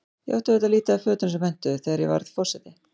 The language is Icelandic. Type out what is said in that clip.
Ég átti auðvitað lítið af fötum sem hentuðu, þegar ég varð forseti.